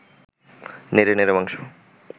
নেড়ে নেড়ে মাংস